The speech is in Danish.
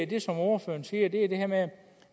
det som ordføreren siger er det det her med at